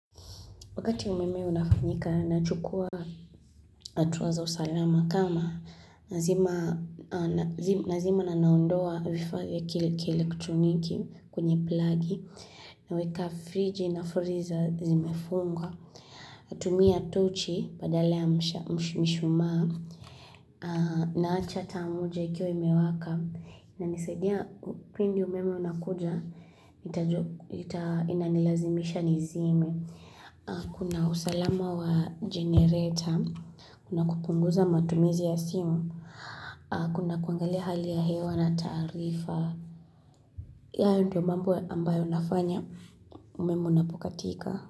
Wakati umeme unafanyika nachukua atuwa za usalama kama nazima na naondoa vifaa vya kielektroniki kwenye plagi naweka friji na freezer zimefungwa. Natumia tochi badala ya mishumaa naacha taa moja ikiwa imewaka inanisaidia pindi umeme unakuja inanilazimisha nizime. Kuna usalama wa generator Kuna kupunguza matumizi ya simu Kuna kuangali hali ya hewa na taarifa hayo ndio mambo ambayo nafanya umeme unapokatika.